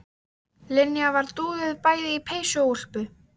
Linja var dúðuð bæði í peysu og úlpu.